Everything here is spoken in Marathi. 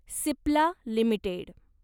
सिप्ला लिमिटेड